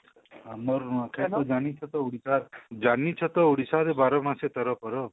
ଆମର ନୂଆଖାଇ ଜାନିଛତ ଉଡିଶା ର ଜାନିଛ ତ ଉଡିଶା ର ବାର ମାସେ ତେର ପର୍ବ